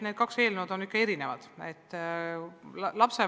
Need kaks eelnõu on ikka erinevad.